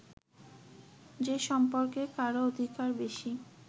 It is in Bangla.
যে সম্পর্কে কারও অধিকার বেশি